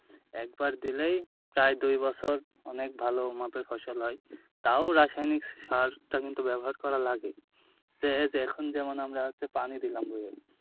একবার দিলেই প্রায় দুই বছর অনেক ভালো মাপের ফসল হয় তাও রাসায়নিক সারটা কিন্তু ব্যবহার করা লাগে, তো এই এখন যেমন আমরা হচ্ছে পানি দিলাম,